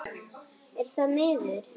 Er það miður.